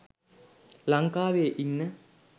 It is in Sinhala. ලංකාවේ ඉන්න